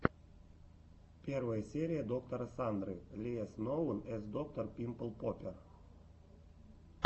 первая серия доктора сандры ли эс ноун эс доктор пимпл поппер